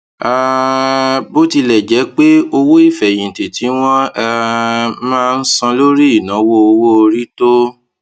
um bó tilẹ jẹ pé owó ìfèyìntì tí wọn um máa ń san lórí ìnáwó owó orí tó